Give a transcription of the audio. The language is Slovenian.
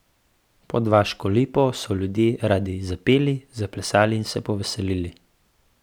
Pod vaško lipo so ljudje radi zapeli, zaplesali in se poveselili.